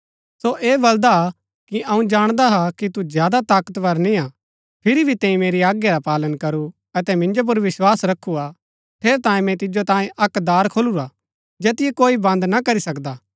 सो ऐह बलदा कि अऊँ जाणदा हा कि तू ज्यादा ताकतवर निय्आ फिरी भी तैंई मेरी आज्ञा रा पालन करू अतै मिन्जो पुर विस्वास रखु हा ठेरैतांये मैंई तिजो तांये अक्क दार खोलुरा हा जैतिओ कोई बन्द ना करी सकदा